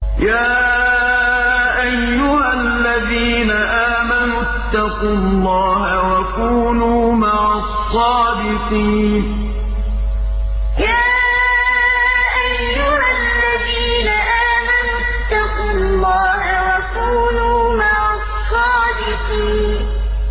يَا أَيُّهَا الَّذِينَ آمَنُوا اتَّقُوا اللَّهَ وَكُونُوا مَعَ الصَّادِقِينَ يَا أَيُّهَا الَّذِينَ آمَنُوا اتَّقُوا اللَّهَ وَكُونُوا مَعَ الصَّادِقِينَ